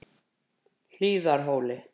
Hlíðarhóli